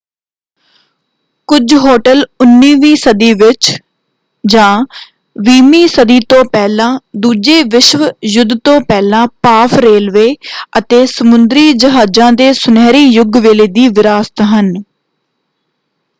ਕੁੱਝ ਹੋਟਲ 19ਵੀਂ ਸਦੀ ਵਿੱਚ ਜਾਂ 20ਵੀਂ ਸਦੀ ਤੋਂ ਪਹਿਲਾਂ ਦੂਜੇ ਵਿਸ਼ਵ ਯੁੱਧ ਤੋਂ ਪਹਿਲਾਂ ਭਾਫ਼ ਰੇਲਵੇ ਅਤੇ ਸਮੁੰਦਰੀ ਜਹਾਜ਼ਾਂ ਦੇ ਸੁਨਹਿਰੀ ਯੁੱਗ ਵੇਲੇ ਦੀ ਵਿਰਾਸਤ ਹਨ।